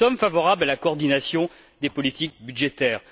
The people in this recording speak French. Nous sommes favorables à la coordination des politiques budgétaires.